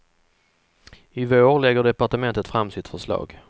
I vår lägger departementet fram sitt förslag.